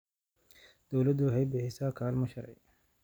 Dawladdu waxay bixisaa kaalmo sharci.